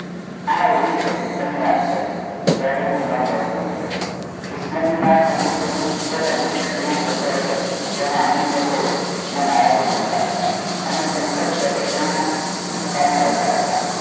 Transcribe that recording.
આ ઓગનીશો છપ્પન ની વાત છે ત્યારે હું નવ વર્ષ નો હતો કિસ્મત ની વાત હતી કે હું એ પબુલિક સુકલ માં જતો હતો જેમાં અમીર લોકો ના ભણતા હતા અમે સંકલ્પ ના વિસ્તાર માં રહેતા હતા